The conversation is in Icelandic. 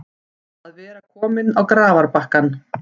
Að vera kominn á grafarbakkann